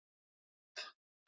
Valgarð